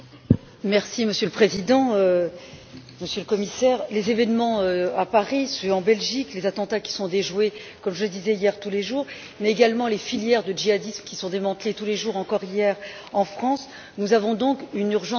Monsieur le Président, Monsieur le Commissaire, les événements à Paris, ceux en Belgique, les attentats qui sont déjoués comme je le disais hier tous les jours, mais également les filières de djihadistes qui sont démantelées tous les jours encore hier en France nous avons une urgence à agir.